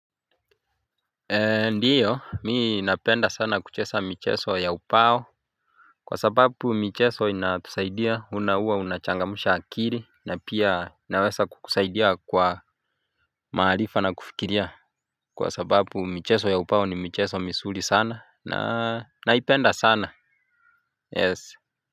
Ndiyo mimi napenda sana kucheza michezo ya ubao Kwa sababu michezo inatusaidia huwa na huwa unachangamusha akili na pia naweza kukusaidia kwa maarifa na kufikiria Kwa sababu michezo ya ubao ni michezo mizuri sana na naipenda sana yes.